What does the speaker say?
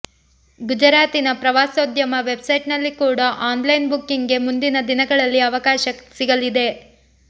ಗುಜರಾತಿನ ಪ್ರವಾಸೋದ್ಯಮ ವೆಬ್ಸೈಟ್ ನಲ್ಲಿ ಕೂಡ ಆನ್ಲೈನ್ ಬುಕ್ಕಿಂಗ್ ಗೆ ಮುಂದಿನ ದಿನಗಳಲ್ಲಿ ಅವಕಾಶ ಸಿಗಲಿದೆ